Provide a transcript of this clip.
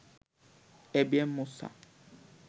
ABM Musa